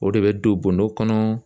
O de bɛ don bɔndɔ kɔnɔ.